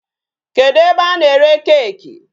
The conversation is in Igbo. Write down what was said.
Kedụ ebe a na-ere cake?